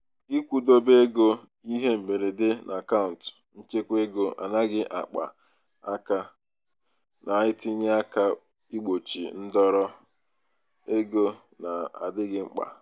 ịkwụdobe ego ihe mberede n'akaụnt nchekwaego anaghị akpa aka na-enye aka igbochi ndọrọ ego na-adịghị mkpa.